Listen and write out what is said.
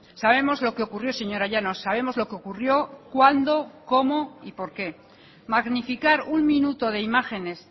sabemos lo que ocurrió señora llanos sabemos lo que ocurrió cuándo cómo y por qué magnificar un minuto de imágenes